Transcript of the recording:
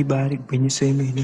Ibari gwinyiso yemene